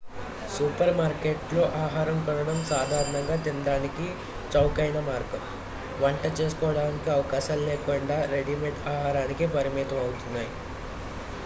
super మార్కెట్లలో ఆహారం కొనడం సాధారణంగా తినడానికి చౌకైన మార్గం వంట చేసుకోడానికి అవకాశాలు లేకుండా రెడీమేడ్ ఆహారానికే పరిమితం అవుతున్నాయి